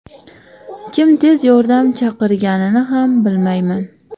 Kim tez yordam chaqirganini ham bilmayman”.